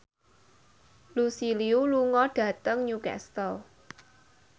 Lucy Liu lunga dhateng Newcastle